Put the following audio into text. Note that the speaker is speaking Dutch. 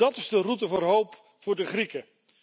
Dat is de route voor hoop voor de Grieken!